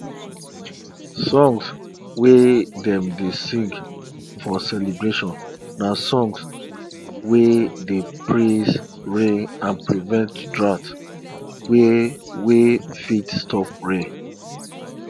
songs wey dem dey sing for celebration na songs wey dey praise rain and prevent drought wey wey fit stop rain